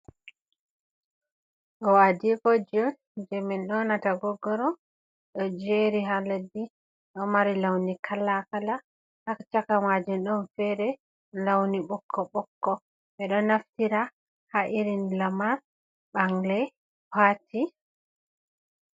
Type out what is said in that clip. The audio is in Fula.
Ɗo adikoji on je min nyonata goggoro ɗo jeri ha leddi. Ɗo mari lawni kalakala, ha chaka majun ɗon fere launi bokko bokko. Ɓe ɗo naftira ha irin lamar ɓangle pati.